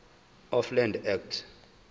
of land act